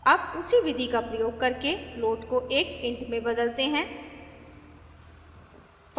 अब उसी विधि का प्रयोग करके float को एक int में बदलते हैं